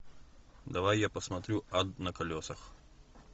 давай я посмотрю ад на колесах